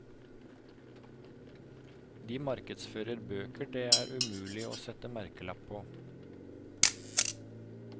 De markedsfører bøker det er mulig å sette merkelapp på.